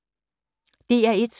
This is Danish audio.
DR1